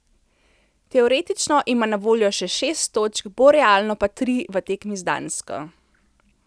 Teoretično ima na voljo še šest točk, bolj realno pa tri v tekmi z Dansko.